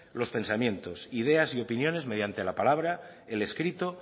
los pensamientos ideas y opiniones mediante la palabra el escrito